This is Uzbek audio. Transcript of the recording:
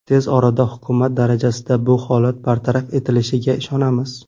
Tez orada hukumat darajasida bu holat bartaraf etilishiga ishonamiz.